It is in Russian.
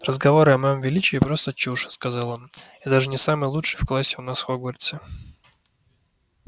разговоры о моем величии просто чушь сказал он я даже не самый лучший в классе у нас в хогвартсе